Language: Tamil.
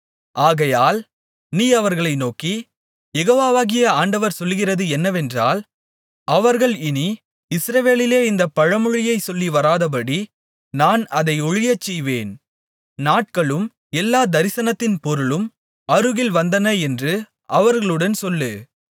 ஆகையால் நீ அவர்களை நோக்கி யெகோவாகிய ஆண்டவர் சொல்லுகிறது என்னவென்றால் அவர்கள் இனி இஸ்ரவேலிலே இந்தப் பழமொழியைச் சொல்லி வராதபடி நான் அதை ஒழியச்செய்வேன் நாட்களும் எல்லாத் தரிசனத்தின் பொருளும் அருகில் வந்தன என்று அவர்களுடன் சொல்லு